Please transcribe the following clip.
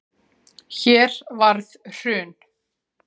Hér varð hrun